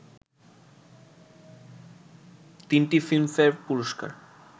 তিনটি Filmfare পুরস্কার